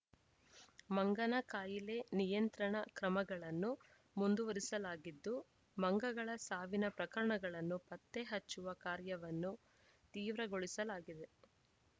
ಮಂಗನ ಕಾಯಿಲೆ ನಿಯಂತ್ರಣ ಕ್ರಮಗಳನ್ನು ಮುಂದುವರಿಸಲಾಗಿದ್ದು ಮಂಗಗಳ ಸಾವಿನ ಪ್ರಕರಣಗಳನ್ನು ಪತ್ತೆ ಹಚ್ಚುವ ಕಾರ್ಯವನ್ನು ತೀವ್ರಗೊಳಿಸಲಾಗಿದೆ